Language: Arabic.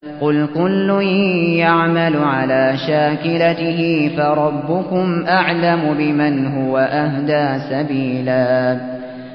قُلْ كُلٌّ يَعْمَلُ عَلَىٰ شَاكِلَتِهِ فَرَبُّكُمْ أَعْلَمُ بِمَنْ هُوَ أَهْدَىٰ سَبِيلًا